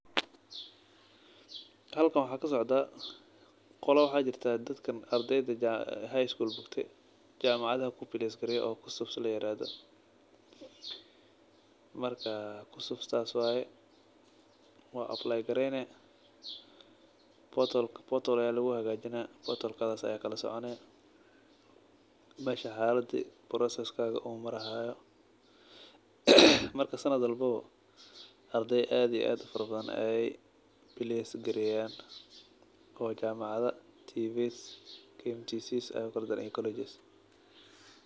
Halkan waxa kasocda qolo waxa jirta ardeyda jamacada ku place gareyo oo layirahdo kccps marka taas waye wa ablaygareyni portal aya luguhagajini oo ad kalasoconi meesha xalada broceeskada uu marayo marka sanad walba ardey aad iyo aad ufara badan ey balce gareyan oo jamacado tvets kmtcs ey ukalageyan.